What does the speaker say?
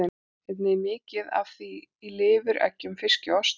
Einnig er mikið af því í lifur, eggjum, fiski og osti.